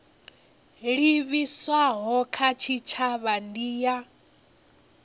livhiswaho kha tshitshavha ndi ya